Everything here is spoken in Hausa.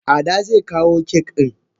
Ada ze kawo cake din.